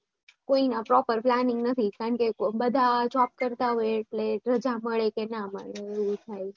કોઈનું proper planning નથી બધા job કરતા હોય બધા મળે કે નઈ એ થાય